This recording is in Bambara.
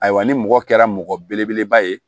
Ayiwa ni mɔgɔ kɛra mɔgɔ belebeleba ye